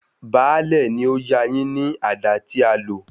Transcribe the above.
Baálẹ̀ ni ó yá a yín ní àdá tí a lò.